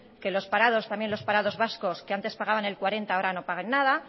que los parados también los parados vascos que antes pagaban el cuarenta ahora no paguen nada